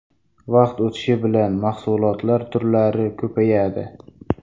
Vaqt o‘tishi bilan mahsulotlar turlari ko‘payadi.